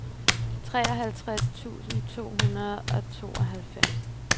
treoghalvtreds tusind to hundrede og tooghalvfems